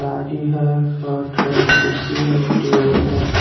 गाडी है कुर्सी है टेबल है।